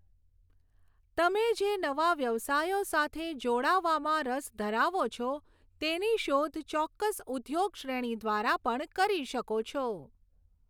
તમે જે નવા વ્યવસાયો સાથે જોડાવામાં રસ ધરાવો છો તેની શોધ ચોક્કસ ઉદ્યોગ શ્રેણી દ્વારા પણ કરી શકો છો.